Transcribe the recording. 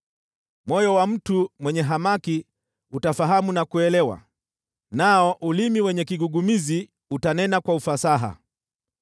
Moyo wa mtu mwenye hamaki utafahamu na kuelewa, nao ulimi wenye kigugumizi utanena kwa ufasaha.